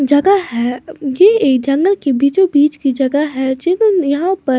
जगह है ये एक जंगल के बीचो बीच की जगह है यहां पर --